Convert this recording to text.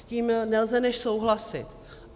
S tím nelze než souhlasit.